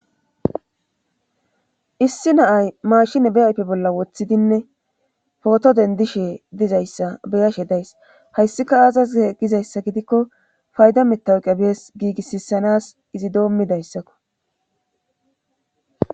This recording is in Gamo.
issi naay mashine be aype bolla woththidinne pooto dendishe dizayssa beyashe days hayssika aazas gizayssa gidikko fayda metawqe bees giigisisanas izi doommidayssakko